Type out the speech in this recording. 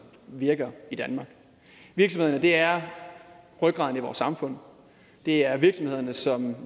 virker i danmark virksomhederne er rygraden i vores samfund det er virksomhederne som